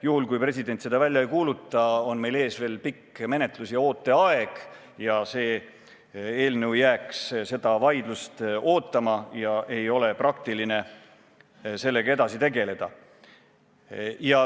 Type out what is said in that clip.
Juhul, kui president seda välja ei kuuluta, on meil ees veel pikk menetlus ja ooteaeg ning see eelnõu jääks seda vaidlust ootama ja ei ole praktiline sellega edasi tegeleda.